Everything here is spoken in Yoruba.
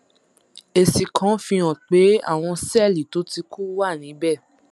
èsì kan fihàn pé àwọn sẹẹlì tó ti kú wà níbẹ